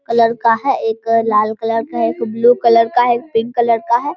Colour का है एक अ लाल कलर का है ब्लू कलर का है एक पिंक कलर का है।